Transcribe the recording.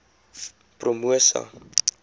promosa